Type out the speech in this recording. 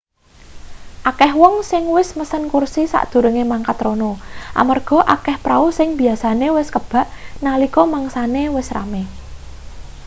akeh wong sing wis mesen kursi sadurunge mangkat rono amarga akeh prau sing biyasane wis kebak nalika mangsane wis rame